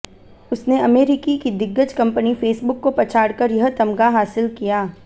उसने अमेरिकी की दिग्गज कंपनी फेसबुक को पछाड़कर यह तमगा हासिल किया